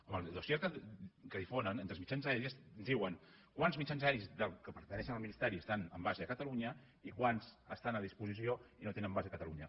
en el dossier que difonen entre els mitjans aeris diuen quants mitjans aeris que pertanyen al ministeri estan amb base a catalunya i quants estan a disposició i no tenen base a catalunya